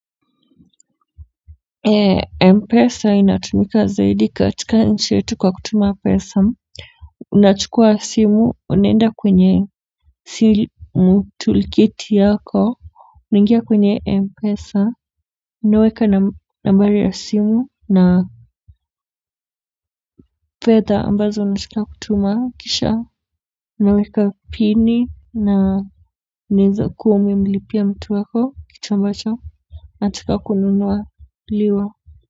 Mpesa inatumika zaidi katika nchi yetu kwa kutuma pesa. Unachukua asimu unenda kwenye simu toolkiti yako unangia kwenye mpesa unaweka nambari ya simu na fedha ambazo unataka kutuma kisha unaweka pini na unaeza kuwa umemlipia mtu wako kitu ambacho katika kununuwa liwa.